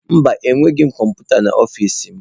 Mba, enweghị m kọmputa n'ọfịs m.